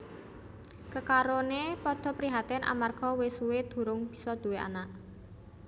Kekaroné padha prihatin amarga wis suwé durung bisa nduwé anak